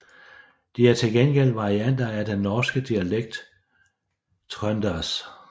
De er til gengæld varianter af den norske dialekt trøndersk